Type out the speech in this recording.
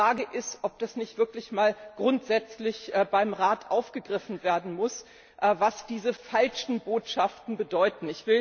Die Frage ist, ob das nicht wirklich einmal grundsätzlich beim Rat aufgegriffen werden muss, was diese falschen Botschaften bedeuten.